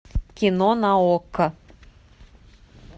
кино на окко